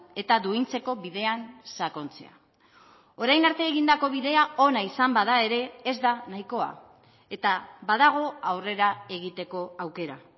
eta duintzeko bidean sakontzea orain arte egindako bidea ona izan bada ere ez da nahikoa eta badago aurrera egiteko aukera